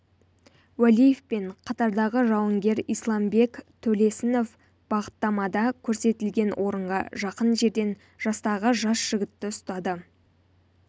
уәлиев пен қатардағы жауынгер исламбек төлесінов бағыттамада көрсетілген орынға жақын жерден жастағы жас жігітті ұстады